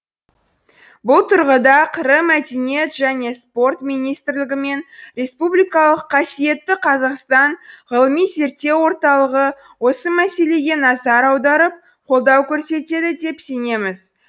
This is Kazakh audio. бұл тұрғыда қр мәдениет және спорт министрлігі мен республикалық қасиетті қазақстан ғылыми зерттеу орталығы осы мәселеге назар аударып қолдау көрсетеді деп сенеміз